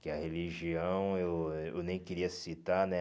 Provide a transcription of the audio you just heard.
Que a religião, eu eu nem queria citar, né?